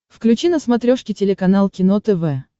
включи на смотрешке телеканал кино тв